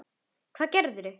Hvað gerðir þú?